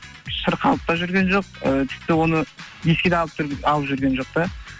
шырқалып та жүрген жоқ ы тіпті оны еске де алып жүрген жоқ та